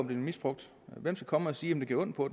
blevet misbrugt hvem skal komme og sige om det gjorde ondt på